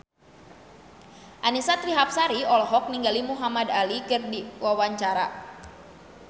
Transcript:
Annisa Trihapsari olohok ningali Muhamad Ali keur diwawancara